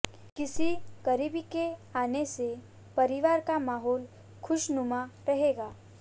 किसी करीबी के आने से परिवार का माहौल खुशनुमा रहेगा